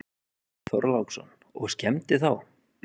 Björn Þorláksson: Og skemmdi þá?